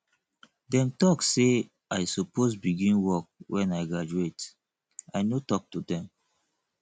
dem talk sey i suppose begin work wen i graduate i no talk to dem